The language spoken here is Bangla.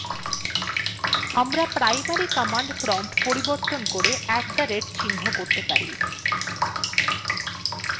আমরা primary command prompt পরিবর্তন করে at the rate <@> চিহ্ন করতে পারি